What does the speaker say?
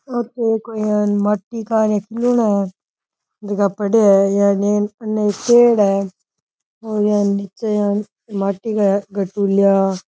पेड़ है निचे माटी का --